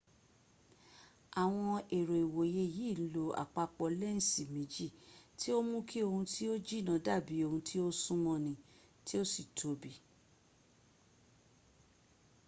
awon ero iwoye yi n lo apapo lensi meji ti o n mu ki ohun ti o jina dabi ohun ti o sun mo ni ti o si tobi